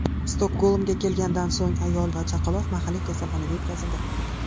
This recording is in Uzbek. Stokgolmga kelgandan so‘ng ayol va chaqaloq mahalliy kasalxonaga yetkazildi.